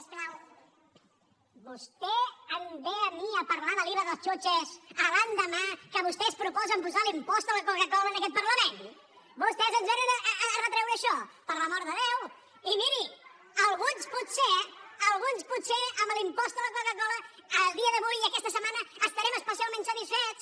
vostè em ve a mi a parlar de l’iva dels chuches l’endemà que vostès proposen posar l’impost a la coca cola en aquest parlament vostès ens vénen a retreure això per l’amor de déu la coca cola a dia d’avui aquesta setmana estarem especialment satisfets